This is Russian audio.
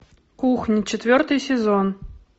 кухня четвертый сезон